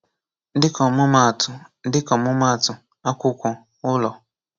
Dịka ọmụma atụ Dịka ọmụma atụ; akwụkwọ, ụlọ.